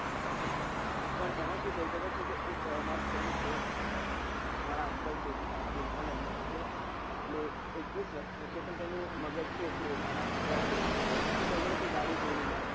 પણ એમાં શું થયું ખબર છે કે એક મારા fraind છે આહ અમારા uncle aunty નો છોકરો એ એકવીસ વર્ષ નો છે પણ એનું મગજ છે એ નાના છોકરા જેવું છે તો તેને તે ગાડી તોડી નાખી